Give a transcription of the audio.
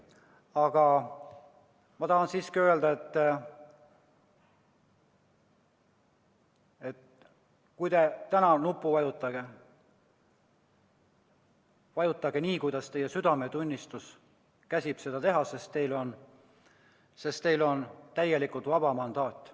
Aga ma tahan siiski öelda, et kui te täna nuppu vajutate, siis vajutage nii, kuidas teie südametunnistus käsib, sest teil on täielikult vaba mandaat.